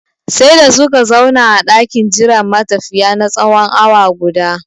Sai da suka zauna a ɗakin jiran matafiya na tsawon awa guda